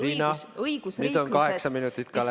Riina, nüüd on kaheksa minutit ka läbi.